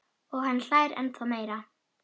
Og hann hlær ennþá meira.